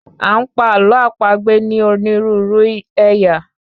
A ń pa àlọ́ àpagbè ní onírúurú ẹ̀yà